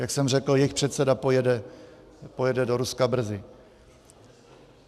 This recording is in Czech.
Jak jsem řekl, jejich předseda pojede do Ruska brzy.